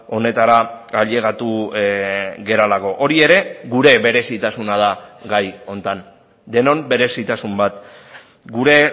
honetara ailegatu garelako hori ere gure berezitasuna da gai honetan denon berezitasun bat gure